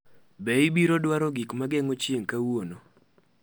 Be ibiro dwaro gik ma geng’o chieng’ kawuono?